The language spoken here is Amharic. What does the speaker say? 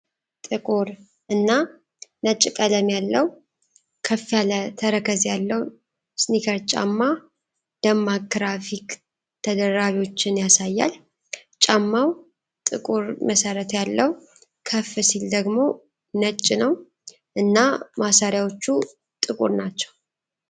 ጥቁር እና ነጭ ቀለም ያለው ከፍ ያለ ተረከዝ ያለው ስኒከር ጫማ ደማቅ ግራፊክ ተደራቢዎችን ያሳያል። ጫማው ጥቁር መሠረት ያለው ከፍ ሲል ደግሞ ነጭ ነው እና ማሰሪያዎቹ ጥቁር ናቸው.